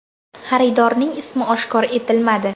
Xaridorning ismi oshkor etilmadi.